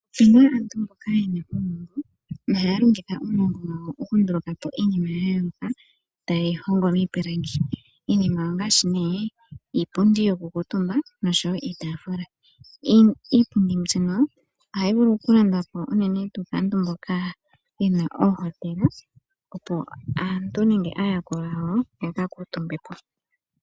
Opuna aantu mboka yena uunongo, nohaya longitha uunongo mboka okunduluka po iinima yayooloka taya hongo miipilangi iinima ongaashi iipundi yoku kuutumba, nosho wo iitafula. Iipundi mbika ohayi vulu okulandwa po uunene tuu kaantu mboka yena oohotela, opo aantu nenge aayakulwa yawo ya ka kuutumbe ko.